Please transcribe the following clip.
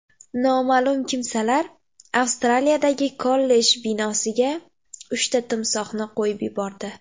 Noma’lum kimsalar Avstraliyadagi kollej binosiga uchta timsohni qo‘yib yubordi .